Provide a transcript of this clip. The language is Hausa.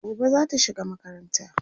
gobe zata shiga makaranta